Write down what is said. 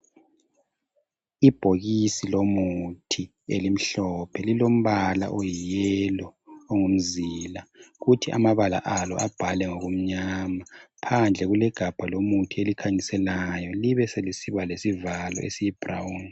Ibhokisi lomuthi elimhlophe lilombala oyiyelo ongumzila. Kuthi amabala alo abhalwe ngokumnyama phandle kulegabha lomuthi elikhanyiselayo libe selisiba lesivalo esiyibrown.